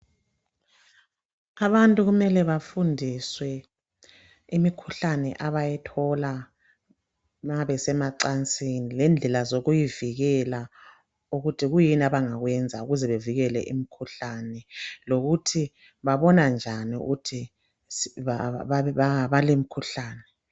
abantu kumele bafundiswe imikhuhlane abayithola nxa besemacansini lenlela zokuyivikela ukuthi kuyini abangakwenza ukuze bevikele imikhuhlane lokuthi babona njani ukuthi balomkhuhlane